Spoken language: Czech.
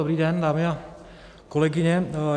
Dobrý den, dámy a kolegyně.